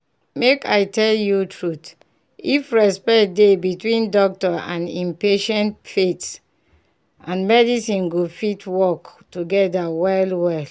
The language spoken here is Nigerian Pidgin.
make i tell you truth if respect dey between doctor and him patients faith and medicine go fit work together well well.